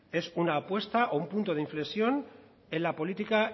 es una apuesta o un punto de inflexión en la política